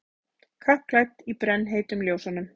Kappklædd í brennheitum ljósunum.